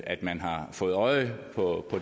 at man har fået øje på